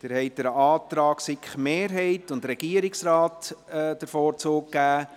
Sie haben dem Antrag der SiK-Mehrheit und des Regierungsrates den Vorzug gegeben,